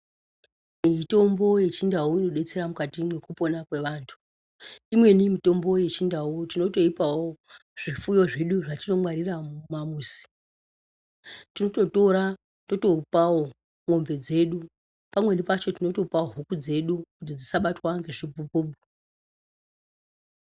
Mitombo yendau inodetsera mukati mwekupona kweantu imweni mutombo yechindau tinotoipawo zvifuyo zvedu zvetinongwarira muma muzi tinototora totopawo mombe dzedu pamweni pacho tinotopa huku dzedu kuti dzisabatwa ngechibhubhubhu.